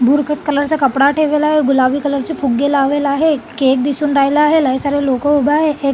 धूरकट colour च कपडा ठेवलेला आहे गुलाबी कलर चे फुगे लावलेले आहे केक दिसून राहीला आहे लई सारे लोक उभे आहे एक--